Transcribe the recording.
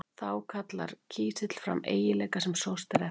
Þá kallar kísill fram eiginleika sem sóst er eftir.